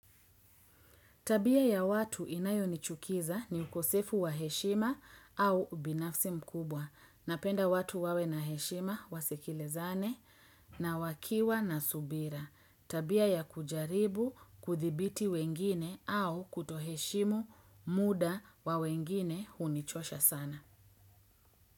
Tabia ya watu inayo nichukiza ni ukosefu wa heshima. Au ubinafsi mkubwa. Napenda watu wawe na heshima, wasikilizane. Na wakiwa na subira. Tabia ya kujaribu, kuthibiti wengine au kutoheshimu, muda wa wengine hunichosha sana.